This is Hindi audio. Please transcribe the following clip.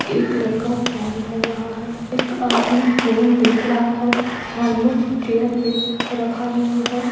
एक लड़का फोन कर रहा है एक आदमी फोन देख रहा है हेलमेट चेयर पे रखा हुआ है।